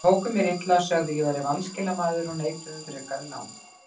Þeir tóku mér illa, sögðu að ég væri vanskilamaður og neituðu um frekari lán.